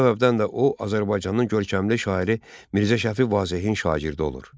Bu səbəbdən də o, Azərbaycanın görkəmli şairi Mirzə Şəfi Vazehin şagirdi olur.